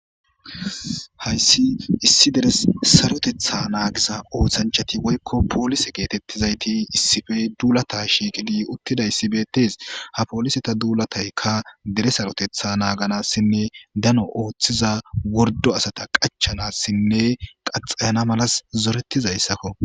Hays issi deres sarotetha nagiza osanchat woyko polise getetizayt issi bolla dulatid utidays betes,ha poliseta dulatayka dere sarotetha naganasinne dano othiza worddo asata qachanasinne qaxaya malas zoretizaysko.